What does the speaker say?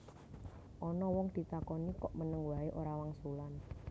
Ana wong ditakoni kok meneng waé ora wangsulan